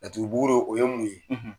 laturu buguru o ye mun ye?